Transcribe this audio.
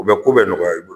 U bɛ ko bɛ nɔgɔya i bolo